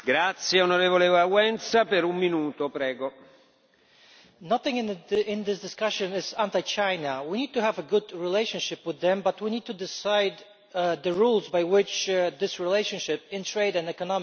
Mr President, nothing in this discussion is anti China. We need to have a good relationship with them, but we need to decide the rules by which this relationship in trade and economic issues is played.